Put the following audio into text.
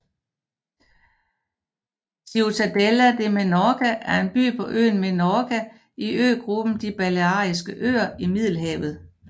Ciutadella de Menorca er en by på øen Menorca i øgruppen De Baleariske Øer i Middelhavet